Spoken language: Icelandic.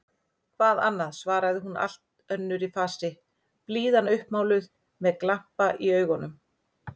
Hvað annað? svaraði hún allt önnur í fasi, blíðan uppmáluð, með glampa í augum.